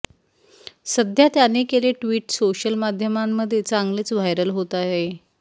सध्या त्याने केले ट्विट सोशल माध्यमांमध्ये चांगलेच व्हायरल होत आहे